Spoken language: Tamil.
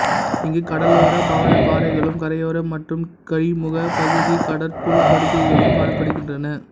இங்கு கடலோரப் பவளப் பாறைகளும் கரையோர மற்றும் கழிமுகப் பகுதிக் கடற் புல் படுகைகளும் காணப்படுகின்றன